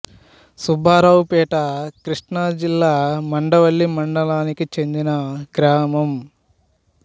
సుబ్బారావు పేట కృష్ణా జిల్లా మండవల్లి మండలానికి చెందిన గ్రామం